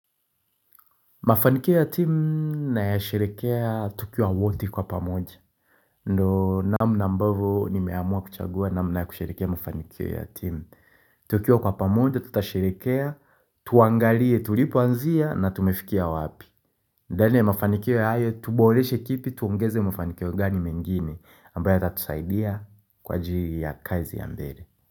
Mafanikio ya timu na ya sherehekea tukiwa wote kwa pamoja. Ndo namna nambavyo nimeamua kuchagua namna na ya kusherekea mafanikio ya timu. Tukiwa kwa pamoja tutasherekea, tuangalie, tulipoanzia na tumefikia wapi. Ndani ya mafanikio ya hayo tuboleshe kipi tuongeze mafanikio gani mengine ambayo yatatusaidia kwa ajiri ya kazi ya mbele.